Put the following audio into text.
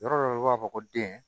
Yɔrɔ dɔ bɛ yen i b'a fɔ ko den